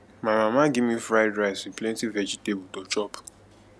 my mama give me fried rice with plenty vegetable to chop